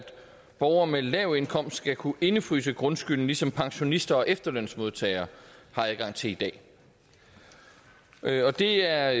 borgere med lav indkomst skal kunne indefryse grundskylden ligesom pensionister og efterlønsmodtagere har adgang til i dag det er